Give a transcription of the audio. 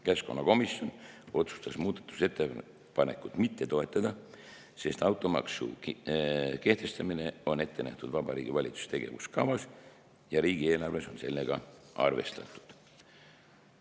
Keskkonnakomisjon otsustas muudatusettepanekut mitte toetada, sest automaksu kehtestamine on ette nähtud Vabariigi Valitsuse tegevuskavas ja riigieelarves on sellega arvestatud.